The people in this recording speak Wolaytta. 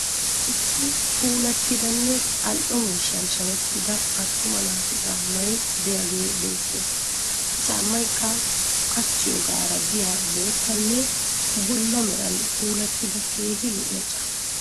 Issi puulattidanne al'o miishshan shamettida attuma naatu caammay diyagee beettes. Ha caammayikka qachchiyogaara diya boottanne bulla meran puulattida keehi lo'iya caamma.